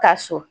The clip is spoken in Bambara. Taa so